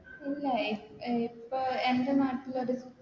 ഇല്ല ഇപ് ഇപ്പൊ എൻറെ നാട്ടിലത്